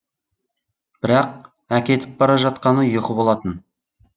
бірақ әкетіп бара жатқаны ұйқы болатын